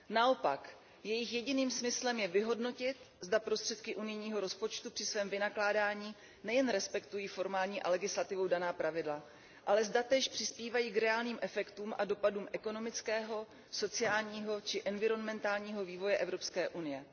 Naopak, jejich jediným smyslem je vyhodnotit, zda prostředky unijního rozpočtu při svém vynakládání nejen respektují formální a legislativou daná pravidla, ale zda též přispívají k reálným efektům a dopadům ekonomického, sociálního či environmentálního vývoje Evropské unie.